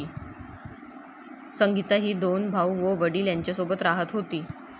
संगीता ही दोन भाऊ व वडील यांच्यासोबत राहत होती.